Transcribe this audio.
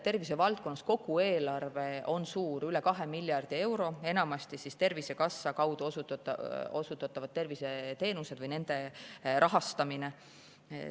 Tervisevaldkonna kogu eelarve on suur, üle 2 miljardi euro: enamasti on tegu Tervisekassa kaudu osutatavate terviseteenuste rahastamisega.